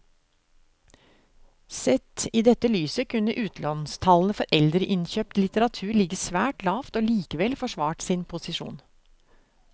Sett i dette lyset kunne utlånstallene for eldre innkjøpt litteratur ligget svært lavt og likevel forsvart sin posisjon.